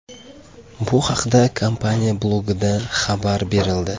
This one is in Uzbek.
Bu haqda kompaniya blogida xabar berildi .